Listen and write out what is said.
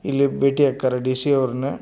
ಇಲ್ಲಿ ಭೇಟಿ ಆಕರ ಡಿಸಿ ಅವರನ.